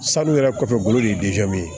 Sanu yɛrɛ kɔfɛ golo de ye